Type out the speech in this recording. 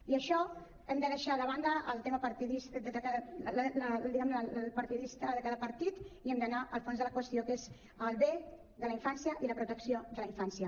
i en això hem de deixar de banda el tema partidista diguem ne de cada partit i hem d’anar al fons de la qüestió que és el bé de la infància i la protecció de la infància